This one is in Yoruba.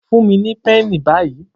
Fun mi ni pẹ́ẹ̀nì bayi!